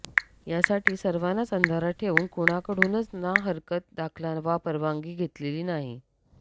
यासाठी सर्वांनाच अंधारात ठेवून कुणाकडूनच नाहरकत दाखला वा परवानगी घेतलेली नाही